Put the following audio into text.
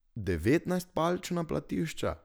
Devetnajstpalčna platišča?